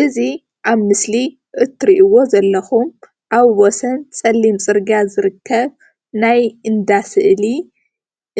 እዚ ኣብ ምስሊ እትሪእዎ ዘለኩም ኣብ ወሰን ፅሊም ፅርግያ ዝርከብ ናይ እንዳ ስእሊ